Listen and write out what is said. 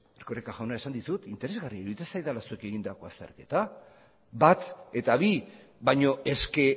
erkoreka jauna esan dizut interesgarria iruditzen zaidala zuek egindako azterketa bat eta bi baino eske